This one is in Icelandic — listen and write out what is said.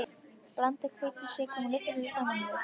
Blandið hveitinu, sykrinum og lyftiduftinu saman við.